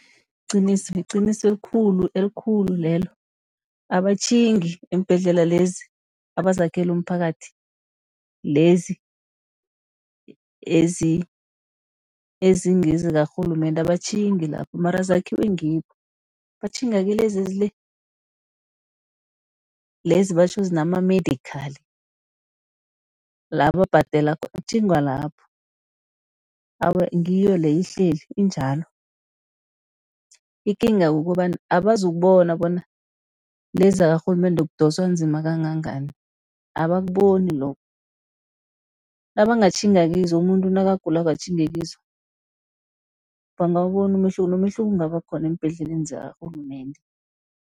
Liqiniso liqiniso elikhulu, elikhulu lelo abatjhingi embhedlela lezi abazakhela umphakathi, lezi ezingezikarhulumende abatjhingi lapho mara zakhiwe ngibo. Batjhinga kilezi ezile, lezi batjho zinama-medical la babhadela khona kutjhingwa lapho. Awa ngiyo leyo ihleli injalo, ikinga ukobana abazukubona bona lezi zakarhulumende kudoswa nzima kangangani abakuboni lokho. Nabangatjhinga kizo umuntu nakagulako atjhinge kizo, bangawubona umehluko, nomehluko ungaba khona eembhedleleni zakarhulumende.